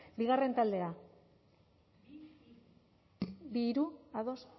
bigarren taldea bi lau ados